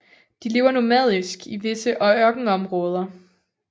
De lever nomadisk i visse ørkenområder